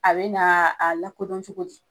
A be na a lakodɔn cogo di?